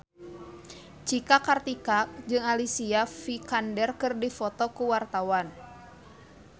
Cika Kartika jeung Alicia Vikander keur dipoto ku wartawan